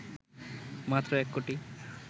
মাত্র ১ কোটি